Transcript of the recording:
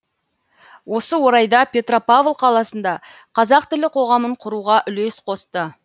осы орайда петропавл қаласында қазақ тілі қоғамын құруға үлес қосты